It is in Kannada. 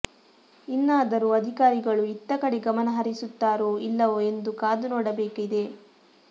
ಇನ್ನಾದರೂ ಅಧಿಕಾರಿಗಳು ಇತ್ತ ಕಡೆ ಗಮನ ಹರಿಸುತ್ತಾರೊ ಇಲ್ಲವೊ ಎಂದು ಕಾದು ನೋಡಬೇಕಿದೆ